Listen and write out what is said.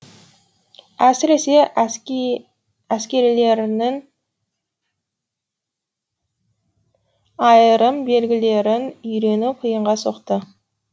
әсіресе әскерилерлің айырым белгілерін үйрену қиынға соқты